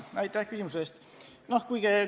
Aitäh küsimuse eest!